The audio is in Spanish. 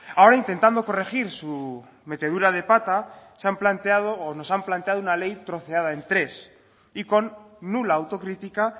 ahora intentando corregir su metedura de pata se han planteado o nos han planteado una ley troceada en tres y con nula autocrítica